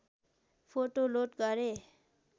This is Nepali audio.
फोटो लोड गरे